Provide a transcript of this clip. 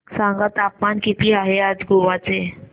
सांगा तापमान किती आहे आज गोवा चे